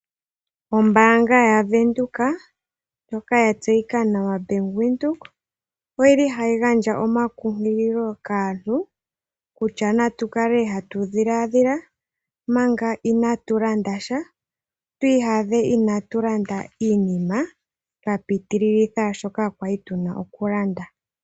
Ombaanga ya venduka ndjoka ya tseyika nawa Bank Windhoek oyili hayi gandja omakunkililo kaantu kutya natukale hatu dhiladhila manga inatu landa sha twii yadhe inatu landa iinima twa pitililitha shoka twali tuna okulanda.